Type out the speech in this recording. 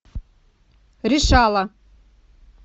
решала